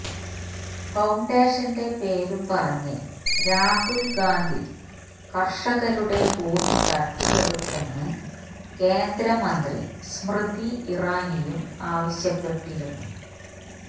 ഫൌണ്ടേഷന്റെ പേരും പറഞ്ഞ് രാഹുല് ഗാന്ധി കര്ഷകരുടെ ഭൂമി തട്ടിയെടുത്തെന്ന് കേന്ദ്രമന്ത്രി സ്മൃതി ഇറാനിയും ആവശ്യപ്പെട്ടിരുന്നു